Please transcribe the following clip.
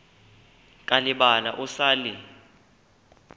ka lebala o sa le